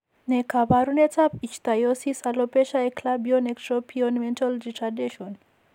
Ne kaabarunetap Ichthyosis alopecia eclabion ectropion mental retardation?